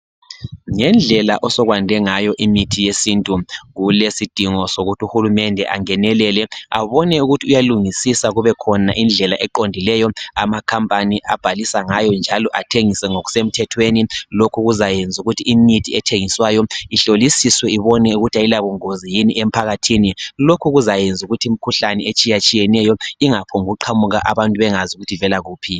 Ngendlela osokwande ngayo imithi yesintu kulesidingo sokuthi uhulumende angenelele abone ukuthi uyalungisisa kube khona indlela eqondileyo amakhampani abhalisa ngayo njalo athengise ngokuse mthethweni. Lokhu kuzayenza ukuthi imithi ethengiswayo ihlolisiswe ibone ukuthi ayila bungozi yini emphakathini. Lokhu kuzayenza imkhuhlane etshiyatshiyeneyo ingaphombu kuqhamuka abantu bengazi ukuthi ivela kuphi.